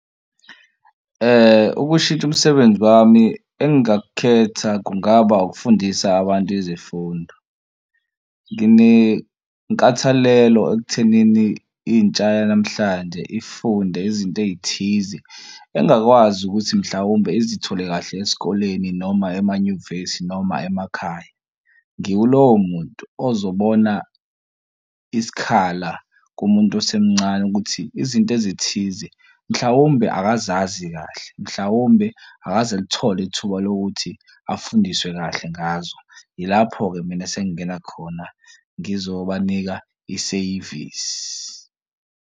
Ukushintsha umsebenzi wami engingakukhetha kungaba ukufundisa abantu izifundo. Nginenkathalelo ekuthenini intsha yanamhlanje ifunde izinto ey'thize engakwazi if ukuthi mhlawumbe izithole kahle esikoleni noma emanyuvesi noma emakhaya. Ngiwulowo muntu ozobona isikhala kumuntu osemncane ukuthi izinto ezithize mhlawumbe akazazi kahle, mhlawumbe akaze alithole ithuba lokuthi afundiswe kahle ngazo. Yilapho-ke mina sengingena khona ngizobanika iseyivisi.